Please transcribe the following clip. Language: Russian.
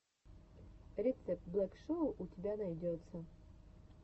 рецепт блэк шоу у тебя найдется